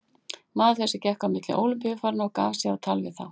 Maður þessi gekk á milli Ólympíufaranna og gaf sig á tal við þá.